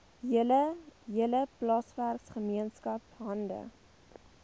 hele plaaswerkergemeenskap hande